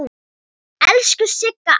Elsku Sigga amma.